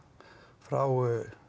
frá